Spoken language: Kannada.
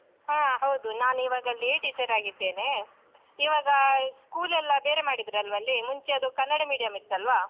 ಹಾ ಹೌದು, ನಾನಿವಾಗ ಅಲ್ಲೇ teacher ಆಗಿದ್ದೇನೆ. ಇವಾಗ school ಎಲ್ಲ ಬೇರೆ ಮಾಡಿದ್ರಲ್ವಾ ಅಲ್ಲಿ ಮುಂಚೆ ಅದು ಕನ್ನಡ medium ಇತ್ತಲ್ವಾ?